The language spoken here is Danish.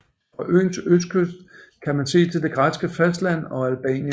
Fra øens østkyst kan man se til det græske fastland og Albanien